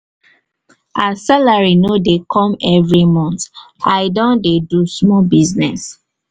as salary no dey come every mont i don dey do small business.